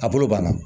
A bolo banna